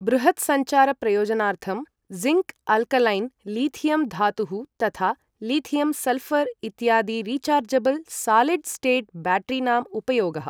बृहत्सञ्चार प्रयोजनार्थं zinc alkaline, lithium धातुः तथा लीथियम् सल्ऴर् इत्यादि रिचार्जबल् सालिड् स्टेट् ब्याटरीनां उपयोगः।